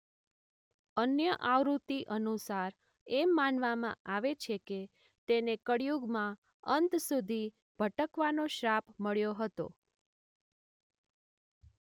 અન્ય આવૃત્તિ અનુસાર એમ માનવામાં આવે છે કે તેને કળીયુગના અંત સુધી ભટકવાનો શ્રાપ મળ્યો હતો.